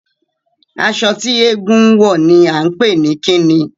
Aṣọ tí eégún ń wọ̀ ni à ń pè ní kí ni?